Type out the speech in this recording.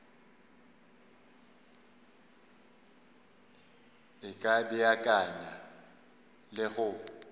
e ka beakanya le go